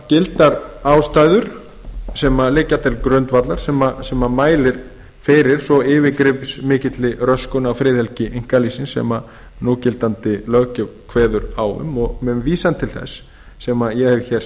gildar ástæður sem liggja til grundvallar sem mæla fyrir svo yfirgripsmikilli röskun á friðhelgi einkalífsins sem núgildandi löggjöf kveður á um og með vísan til þess sem ég hef hér